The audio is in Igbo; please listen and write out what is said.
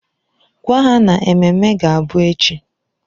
Gwa ha na ememme ga-abụ echi!